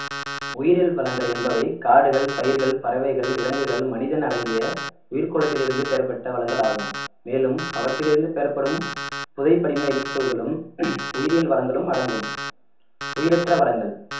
உயிரியல் வளங்கள் என்பவை காடுகள் பயிர்கள் பறவைகள் விலங்குகள் மனிதன் அடங்கிய உயிர்கோலத்தில் இருந்து பெறப்பட்ட வளங்கள் ஆகும் மேலும் அவற்றிலிருந்து பெறப்படும் புதை படிமை எரிபொருள்களும் உயிரியல் வளங்களும் அடங்கும் உயிரற்ற வளங்கள்